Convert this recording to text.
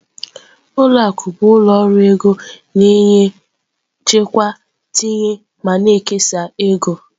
Ụlọ akụ bụ ụlọ ọrụ ego na-enye ego, chekwaa, tinye ego ma na-ekesa.